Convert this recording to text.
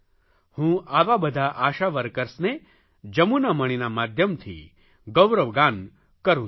હું આવા બધા આશા વર્કર્સને જમુનામણિના માધ્યમથી ગૌરવ ગાન કરૂં છું